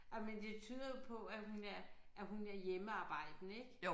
Ej men det tyder jo på at hun er at hun er hjemmearbejdende ik